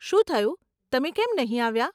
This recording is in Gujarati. શું થયું? તમે કેમ નહીં આવ્યાં?